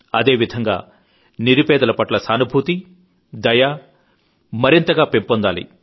అదే విధంగా నిరుపేదల పట్ల సానుభూతి దయ కరుణాభావాలు మరింతగా పెంపొందాలి